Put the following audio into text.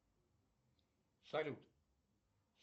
салют